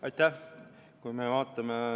Aitäh!